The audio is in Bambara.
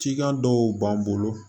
Cikan dɔw b'an bolo